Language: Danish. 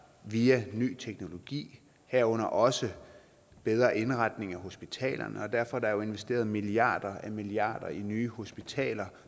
via ny teknologi herunder også bedre indretning af hospitalerne derfor er der investeret milliarder og milliarder i nye hospitaler